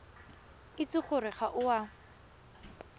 itse gore ga o a